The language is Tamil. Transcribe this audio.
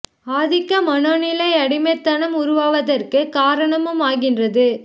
ஆதிக்க மனோ நிலை அடிமைத் தனம் உருவாவதற்கு காரணமுமாகின்றது